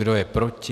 Kdo je proti?